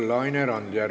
Laine Randjärv.